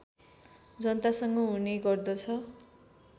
जनतासँग हुने गर्दछ